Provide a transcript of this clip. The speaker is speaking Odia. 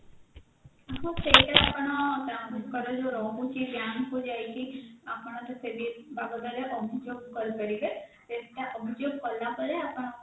ହଁ ଟା ସେଇଟା ଆପଣ ଯୋଉ ରହୁଛି bank କୁ ଯାଇକି ଆପଣ ସେ ବିବାଦରେ ଅଭିଯୋଗ କରିପାରିବେ ସେଟା ଅଭିଯୋଗ କଲାପରେ ଆପଣ